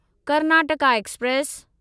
Karnataka express